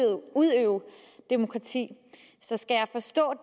demokrati så skal jeg forstå